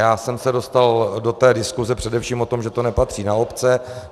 Já jsem se dostal do té diskuse především o tom, že to nepatří na obce.